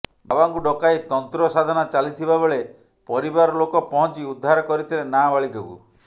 ବାବାଙ୍କୁ ଡକାଇ ତନ୍ତ୍ର ସାଧନା ଚାଲିଥିବାବେଳେ ପରିବାର ଲୋକ ପହଞ୍ଚି ଉଦ୍ଧାର କରିଥିଲେ ନାବାଳିକାକୁ